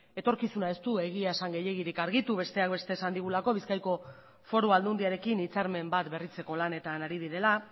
etorkizuna ez du egia esan gehiegirik argitu besteak beste esan digulako bizkaiko foru aldundiarekin hitzarmen bat berritzeko lanetan ari direla